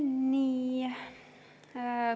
Nii.